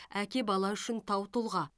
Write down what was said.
әке бала үшін тау тұлға